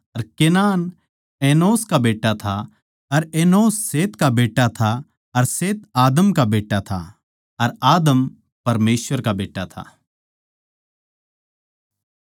अर Kenan Enosh का बेट्टा था अर एनोश शेत का बेट्टा था अर शेत आदम का बेट्टा था अर आदम परमेसवर का बेट्टा था